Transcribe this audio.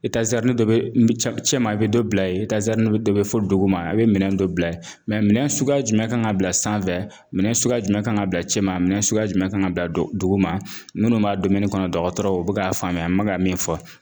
dɔ bɛ cɛ ma i bɛ dɔ bila ye dɔ bɛ fɔ dugu ma a bɛ minɛ dɔ bila ye minɛn suguya jumɛn kan ka bila sanfɛ minɛ suguya jumɛn kan ka bila cɛ ma minɛn suguya jumɛn kan ka bila dugu ma minnu b'a kɔnɔ dɔgɔtɔrɔw bɛ ka faamuya an bɛ ka min fɔ